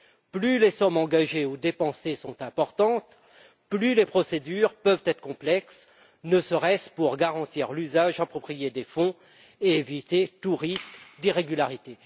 Plus les sommes engagées ou dépensées sont importantes, plus les procédures peuvent être complexes, ne serait ce que pour garantir l'usage approprié des fonds et éviter tout risque d'irrégularité.